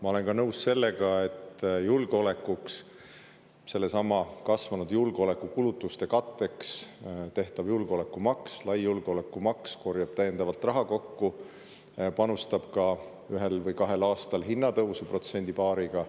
Ma olen nõus, et kasvanud julgeolekukulutuste katteks tehtav lai julgeolekumaks korjab täiendavalt raha kokku ning panustab ka ühel või kahel aastal hinnatõusu protsendi või paariga.